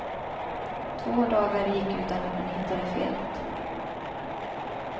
Två dagar gick utan att man hittade felet.